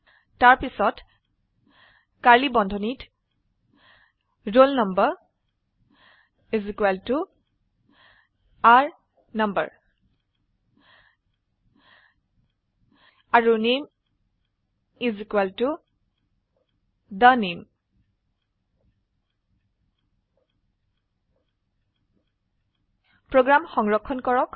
তাৰপিছত কাৰ্ড়লী বন্ধনীত roll number is equal to r no আৰু নামে is equal to the name program সংৰক্ষণ কৰক